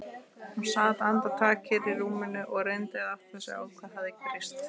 Hún sat andartak kyrr í rúminu og reyndi að átta sig á hvað hafði breyst.